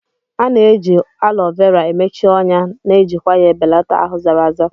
A na-eji Alo Vera emechi ọnya na ejikwa ya ebelata ahụ zara aza.